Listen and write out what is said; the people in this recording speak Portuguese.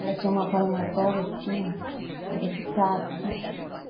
Ela tinha uma palmatória assim, que era de cabo sabe